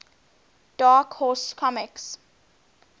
dark horse comics